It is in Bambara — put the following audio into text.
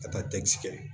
Ka taa kɛ